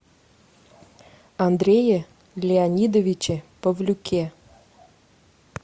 андрее леонидовиче павлюке